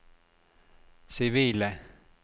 sivile